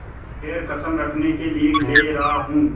खैर कसम रखने के लिए ले रहा हूँ